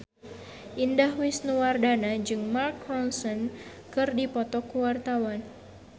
Indah Wisnuwardana jeung Mark Ronson keur dipoto ku wartawan